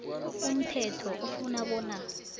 umthetho ufuna bona